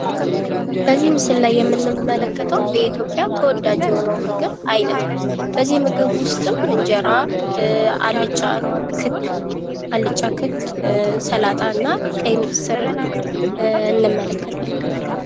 በዚህ ምስል ላይ የምንመለከተው በኢትዮጵያ ተወዳጅ የሆነውን የምግብ አይነት ነው። በዚህ ምግብ ውስጥም እንጀራ ፣አልጫ ክክ፣ ሰላጣ እና ቀይ ምስር እንመለከታለን።